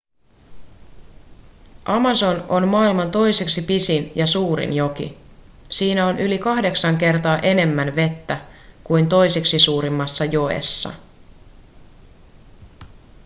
amazon on maailman toiseksi pisin ja suurin joki siinä on yli 8 kertaa enemmän vettä kuin toisiksi suurimmassa joessa